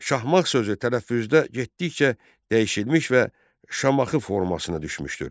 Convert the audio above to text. Şahmağ sözü tələffüzdə getdikcə dəyişilmiş və Şamaxı formasına düşmüşdür.